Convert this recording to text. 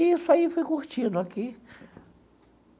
E isso aí fui curtindo aqui.